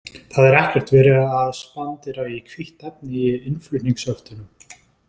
Það er ekkert verið að spandera í hvítt efni í innflutningshöftunum.